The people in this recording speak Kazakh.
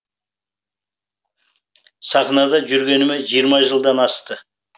сахнада жүргеніме жиырма жылдан асты